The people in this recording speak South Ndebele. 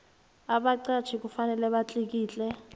abaqatjhi kufanele batlikitle